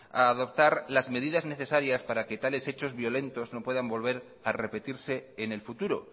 a adoptar las medidas necesarias para que tales hechos violentos no puedan volver a repetirse en el futuro